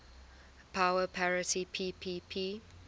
power parity ppp